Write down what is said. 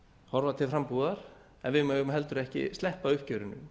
horfa til frambúðar en við eru heldur ekki sleppa uppgjörinu